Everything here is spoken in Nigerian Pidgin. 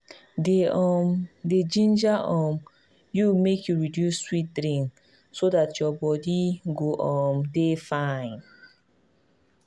dem um dey ginger um you make you reduce sweet drink so dat your body go um dey fine.